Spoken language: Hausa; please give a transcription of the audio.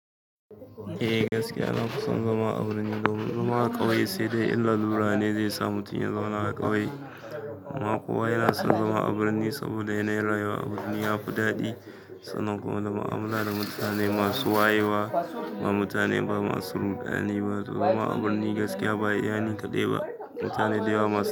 Eh gaskiya, na fi son zama a birni domin zama a ƙauye sai dai in lalura ne zai sa mutum ya zauna a ƙauye. Amma kowa yana son zama a birni saboda yanayin rayuwa a birni ya fi daɗi. Sannan kuma da mu'amala da mutane masu wayewa, ba mutane ba masu rudani ba. To zama a birni gaskiya ba iya ni kaɗai ba. Mutane da yawa masu.